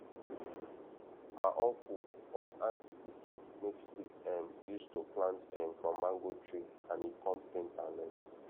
ma uncle or aunty pikin make stick um use to plant um from mango tree and e kon paint am red